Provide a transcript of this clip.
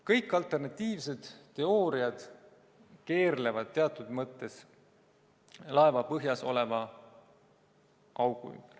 Kõik alternatiivsed teooriad keerlevad teatud mõttes laeva põhjas oleva augu ümber.